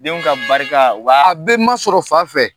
Denw ka barika uba a be masɔrɔ fafɛ